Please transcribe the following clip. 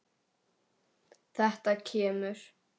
Þetta kemur.